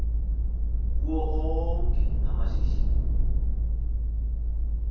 kuwo onke amashishini